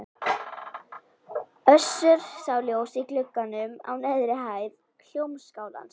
Össur sá ljós í glugganum á neðri hæð Hljómskálans.